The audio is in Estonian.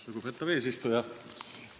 Lugupeetav eesistuja!